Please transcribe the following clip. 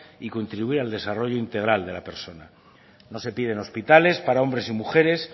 y contribuir al desarrollo integral de la persona no se piden hospitales para hombres y mujeres